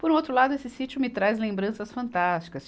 Por outro lado, esse sítio me traz lembranças fantásticas.